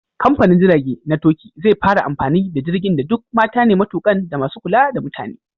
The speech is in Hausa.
Kamfanin jirage na Turkey zai fara amfani da jirgin da duk mata ne matukan da masu kula da mutane.